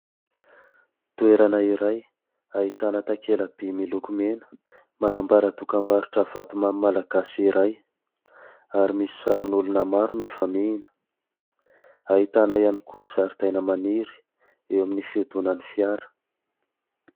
Toerana iray ahitana takelamby miloko mena manambara tokambarotra vatomany malagasy iray ary misy sarin'olona maro mifamihina. Ahitana ihany kosa zaridaina maniry eo amin'ny fiodonany fiara